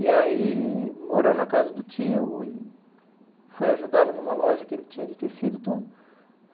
E aí morou na casa do tio e foi ajudá-lo numa loja que ele tinha de tecido e tudo.